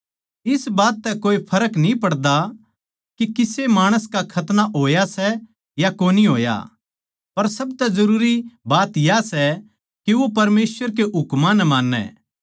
इस बात तै कोए फर्क न्ही पड़ता के किसे माणस का खतना होया सै या कोनी होया पर सब तै जरूरी बात या सै के वो परमेसवर के हुकमां ताहीं मान्नै